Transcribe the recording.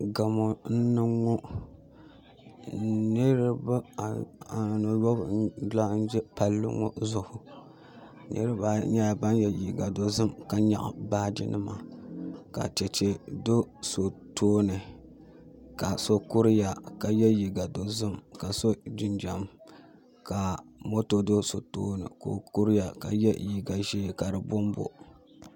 Gamo n niŋ ŋo niraba anu n laɣam ƶɛ palli ŋo zuɣu niraba ayi nyɛla ban yɛ liiga dozim ka nyaɣa baaji nima ka chɛchɛ do so tooni ka so kuriya ka yɛ liiga dozim ka so jinjɛm ka moto do so tooni ka o kuriya ka yɛ liiga ʒiɛ ka di bonbo